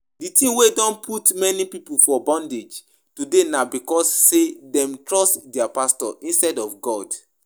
The thing wey don put many people for bondage today na because say dem trust dia pastors instead of God